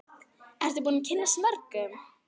Ertu búin að kynnast mörgum?